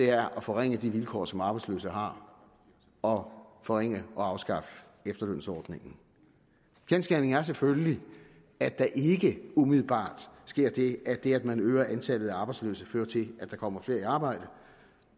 er at forringe de vilkår som arbejdsløse har og forringe og afskaffe efterlønsordningen kendsgerningen er selvfølgelig at der ikke umiddelbart sker det at det at man øger antallet af arbejdsløse fører til at der kommer flere i arbejde